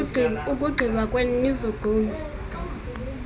ukugqiba kwenu nizogqume